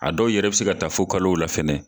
A dɔw yɛrɛ bɛ se ka taa fo kalow la fɛnɛ.